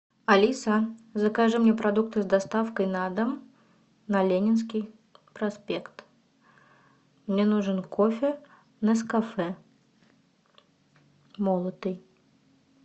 алиса закажи мне продукты с доставкой на дом на ленинский проспект мне нужен кофе нескафе молотый